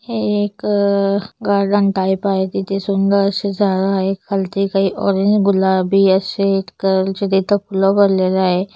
हे एक garden type आहे. तिथे सुंदर आशे झाड आहेत. खालती काही ऑरेंज गुलाबी आशे कलर चे तिथं फुल बनलेले आहे.